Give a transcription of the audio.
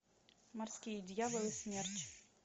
морские дьяволы смерч